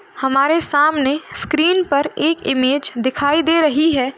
हमारे सामने स्क्रीन पर एक इमेज दिखाई दे रही हैं।